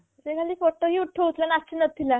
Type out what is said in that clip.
ସେ ଖାଲି photo ହିଁ ଉଠଉଥିଲା ନାଚୁ ନଥିଲା